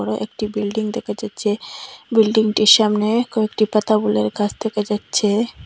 একটি বিল্ডিং দেখা যাচ্চে বিল্ডিংটির সামনে কয়েকটি পাতা বুলের গাছ দেখা যাচ্ছে।